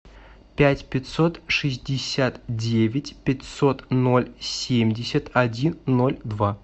пять пятьсот шестьдесят девять пятьсот ноль семьдесят один ноль два